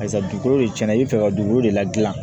Barisa dugukolo de cɛn na i bɛ fɛ ka dugukolo de ladilan